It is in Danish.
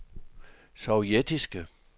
sovjetiske